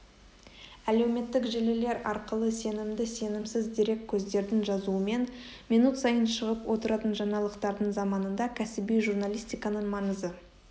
әлеуметтік желілер арқылы сенімді-сенімсіз дереккөздердің жазуымен минут сайын шығып отыратын жаңалықтардың заманында кәсіби журналистиканың маңызы